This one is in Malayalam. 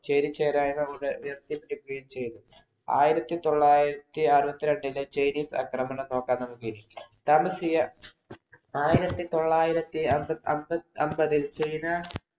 ചേരിചേരാ എന്നതുകൊണ്ട് ചെയ്‌തു. ആയിരത്തിതൊള്ളായിരത്തി അറുപത്തിരണ്ടിലെ ചൈനീസ് ആക്രമണം നോക്കാം നമുക്കിനി. താമസിയാ ആയിരത്തി തൊള്ളായിരത്തി ക അമ്പ അമ്പതിൽ ചൈന